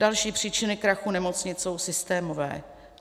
Další příčiny krachu nemocnic jsou systémové.